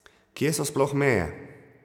Kje so sploh meje?